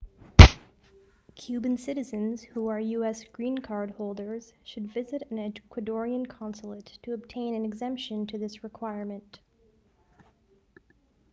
cuban citizens who are us green card holders should visit an ecuadorian consulate to obtain an exemption to this requirement